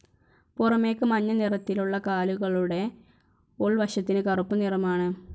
പുറമേക്ക് മഞ്ഞ നിറത്തിലുള്ള കാലുകളുടെ ഉൾവശത്തിന് കറുപ്പ് നിറമാണ്.